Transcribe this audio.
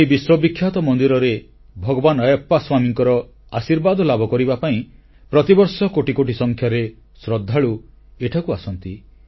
ଏହି ବିଶ୍ୱବିଖ୍ୟାତ ମନ୍ଦିରରେ ଭଗବାନ ଆୟାପ୍ପା ସ୍ୱାମୀଙ୍କର ଆଶୀର୍ବାଦ ଲାଭ କରିବା ପାଇଁ ପ୍ରତିବର୍ଷ କୋଟି କୋଟି ସଂଖ୍ୟାରେ ଶ୍ରଦ୍ଧାଳୁ ସେଠାକୁ ଯାଆନ୍ତି